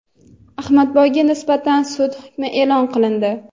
Ahmadboyga nisbatan sud hukmi e’lon qilindi.